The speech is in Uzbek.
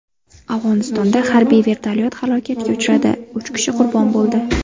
Afg‘onistonda harbiy vertolyot halokatga uchradi, uch kishi qurbon bo‘ldi.